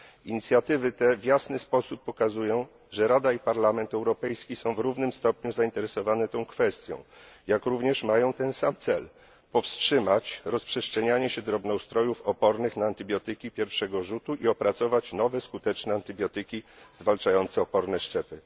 Inicjatywy te w jasny sposób pokazują, że Rada i Parlament Europejski są w równym stopniu zainteresowane tą kwestią, jak również mają ten sam cel powstrzymać rozprzestrzenianie się drobnoustrojów opornych na antybiotyki pierwszego rzutu i opracować nowe skuteczne antybiotyki zwalczające oporne szczepy.